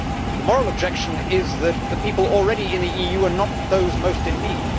The moral objection is that the people already in the EU are not those most in need.